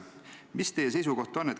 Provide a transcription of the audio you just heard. Mis teie seisukoht on?